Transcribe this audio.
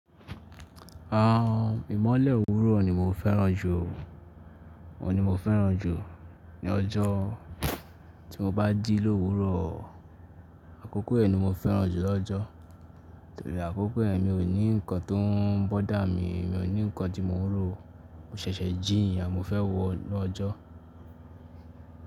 Ìmọ́lẹ̀ òwúrọ̀ ni mo fẹ́ràn jù, òun ni mo fẹ́ràn jù ní ọjọ́. Tí mo bá jí lówúrọ̀, àkókò yen ni mo fẹ́ràn jù lọ́jọ. Torí àkókò yen mi ò ní nǹkan tó ń bọ́dà mi, mi ò ní nǹkan tí mo n ró, mo ṣẹ̀ṣẹ̀ jíì niyen mo fẹ́ wo nu ọjọ́.